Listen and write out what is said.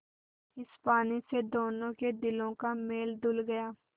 इस पानी से दोनों के दिलों का मैल धुल गया